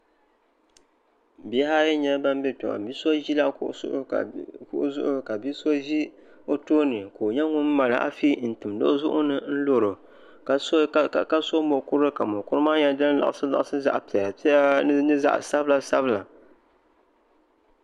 Bihi ayi n nyɛ ban bɛ kpɛ ŋo bia so ʒila kuɣu zuɣu ka bia so ʒi o tooni ka o nyɛ ŋun mali afi n timdi o zuɣuni n loro ka so mokuru ka mokuru maa nyɛ din liɣisi liɣisi zaɣ piɛla piɛla ni zaɣ sabila sabila